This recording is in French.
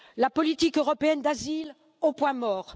La politique européenne d'asile au point mort!